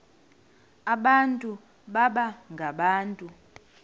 abantu baba ngabantu